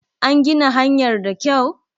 An gina hanyar da kyau?